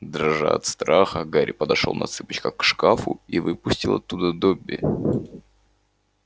дрожа от страха гарри подошёл на цыпочках к шкафу и выпустил оттуда добби